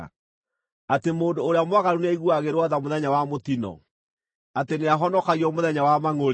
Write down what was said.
atĩ mũndũ ũrĩa mwaganu nĩ aiguagĩrwo tha mũthenya wa mũtino, atĩ nĩahonokagio mũthenya wa mangʼũrĩ?